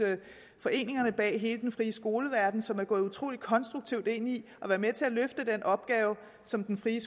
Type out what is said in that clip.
foreningerne bag hele den frie skoleverden som er gået utrolig konstruktivt ind i at være med til at løfte den opgave som den frie